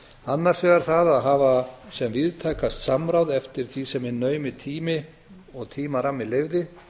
annars vegar að hafa sem víðtækast samráð eftir því sem hinn naumi tími og tímarammi leyfði